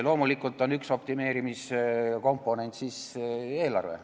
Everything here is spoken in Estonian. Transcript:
Loomulikult on üks optimeerimiskomponent eelarve.